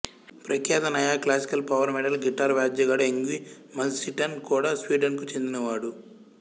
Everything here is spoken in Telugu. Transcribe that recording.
ప్రఖ్యాత నయా క్లాసికల్ పవర్ మెటల్ గిటార్ వాద్యగాడు యంగ్వి మాల్మ్స్టీన్ కూడా స్వీడన్కు చెందినవాడు